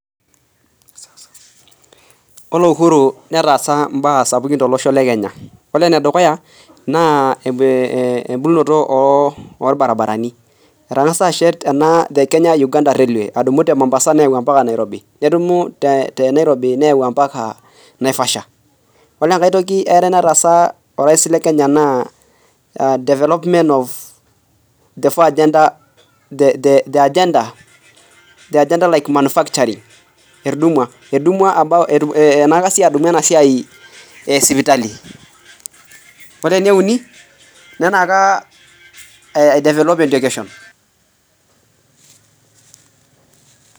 Ore Uhuru netaasa mbaa sapukin tolosho le Kenya Ore enedukuya naa embolunoto olbaribarani Etangasa ashet ena The Kenya-UgandaRailway adumu te Mombasa neyau ombaka Nairobi nedumu te Nairobi neyau ombaka Naivasha Ore enkai toki eare nataasa orais le Kenya naa Development of the agenda like manufacturing etudumua Enyaaka sii adumu enasiai e sipitali Ore enieuni nenyaaaka aidevelop education